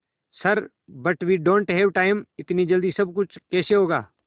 sir but we don't have time इतनी जल्दी सब कुछ कैसे होगा